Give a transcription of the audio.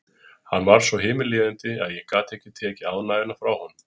Hann varð svo himinlifandi að ég gat ekki tekið ánægjuna frá honum.